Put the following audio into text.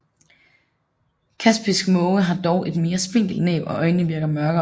Kaspisk måge har dog et mere spinkelt næb og øjnene virker mørkere